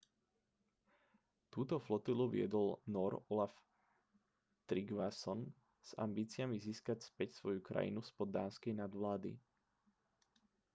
túto flotilu viedol nór olaf trygvasson s ambíciami získať späť svoju krajinu spod dánskej nadvlády